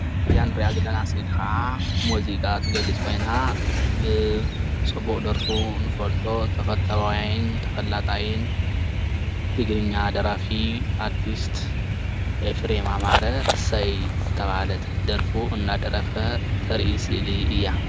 እዚኣ እንሪኣ ዘለና ስእሊ ከዓ ሙዚቃ እትገልፅ ኮይና ብፅቡቅ ደርፉ እንፈልጦ ተፈታዋይ ተፈላጣይን ትግርኛ ደራፊ ኣርቲስት ኢፍሬም ኣማረ እሰይ ዝተባሃለት ደርፉ እናደረፈ እተርኢ ስእሊ እያ፡፡